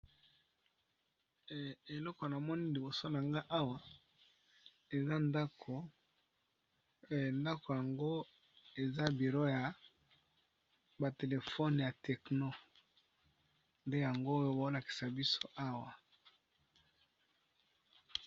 Eloko namoni liboso na ngai awa, ezali bongo ndaku, ndaku yango ezali bongo esika ya mosala